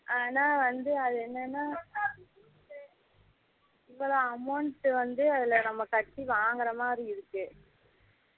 ஆனா வந்து அது என்னனா amount வந்து நம்ம கட்டி வாங்குற மாதிரி இருக்கு